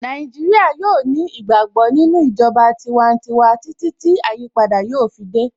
Naijiria yóò ní ìgbàgbọ́ nínú ìjọba tiwantiwa títí tí àyípadà yóò fi dé